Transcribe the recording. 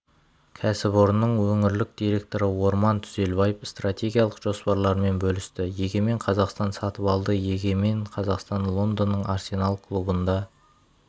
кәсіпорынның өңірлік директоры орман түзелбаев стратегиялық жоспарларымен бөлісті егемен қазақстан сатыбалды егемен қазақстан лондонның арсенал клубында